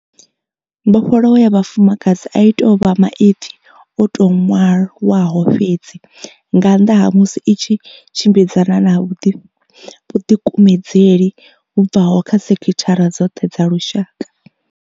Mbofholowo ya vhafumakadzi a i tou vha maipfi o tou ṅwalwaho fhedzi nga nnḓa ha musi i tshi tshimbidzana na vhuḓikumedzeli vhu bvaho kha sekithara dzoṱhe dza lushaka.